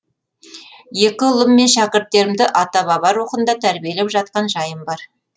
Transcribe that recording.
екі ұлым мен шәкірттерімді ата баба рухында тәрбиелеп жатқан жайым бар